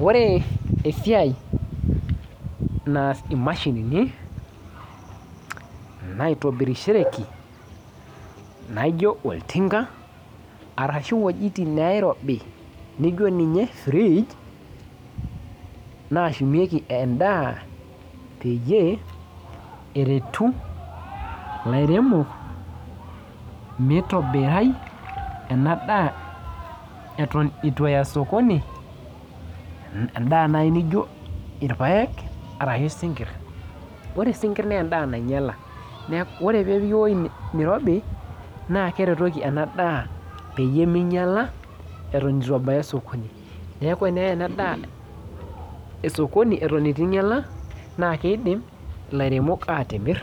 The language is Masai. Ore esiai naas imashinini naitobirishoreki naijio oltinka arashu iwojitin neirobi nijio ninye fridge nashumieki endaa peyie eretu ilairemok meitobirai ena daa eton itu eya sokoni imbaa naaji nijio irpayek aarashu isinkirr ore isinkirr naa endaa nainyiala ore peepiki ewueji nirobi naa keretoki ena daa peyie meinyiala eton etu ebaya osokoni neeku eneyae ena daa esokoni eto etu inyiala naa keidim ilaremok atimirr